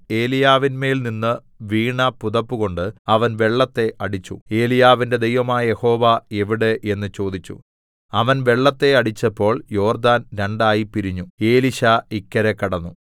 ഏലീയാവിന്മേൽനിന്നു വീണ പുതപ്പുകൊണ്ട് അവൻ വെള്ളത്തെ അടിച്ചു ഏലീയാവിന്റെ ദൈവമായ യഹോവ എവിടെ എന്ന് ചോദിച്ചു അവൻ വെള്ളത്തെ അടിച്ചപ്പോൾ യോർദാൻ രണ്ടായി പിരിഞ്ഞു എലീശാ ഇക്കരെ കടന്നു